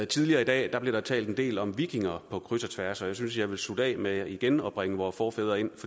tidligere i dag blev der talt en del om vikinger på kryds og tværs og jeg synes jeg vil slutte af med igen at bringe vore forfædre ind